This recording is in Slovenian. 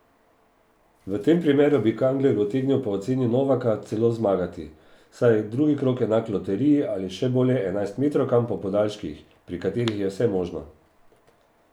V tem primeru bi Kangler utegnil po oceni Novaka celo zmagati, saj je drugi krog enak loteriji ali še bolje enajstmetrovkam po podaljških, pri katerih je vse možno.